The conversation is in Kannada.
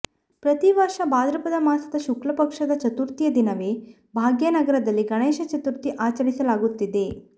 ಪ್ರತೀವರ್ಷ ಭಾದ್ರಪದ ಮಾಸದ ಶುಕ್ಲ ಪಕ್ಷದ ಚತುರ್ಥಿಯ ದಿನವೇ ಭಾಗ್ಯನಗರದಲ್ಲಿ ಗಣೇಶ ಚತುರ್ಥಿ ಆಚರಿಸಲಾಗುತ್ತಿದೆ